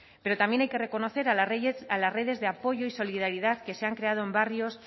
pero también hay que reconocer a las redes de apoyo y solidaridad que se han creado en barrios